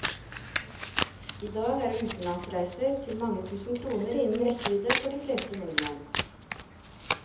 I dag er utenlandsreiser til mange tusen kroner innen rekkevidde for de fleste nordmenn.